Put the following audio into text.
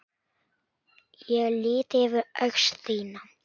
Ég lýt yfir öxl þína.